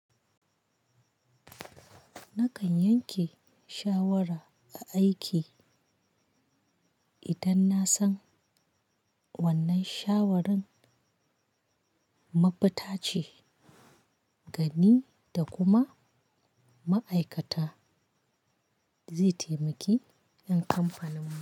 Nakan yanke shawara a aiki idan na san wannan shawarin mafuta ce ga ni da kuma ma'aikata zai taimaki ƴan kamfaninmu.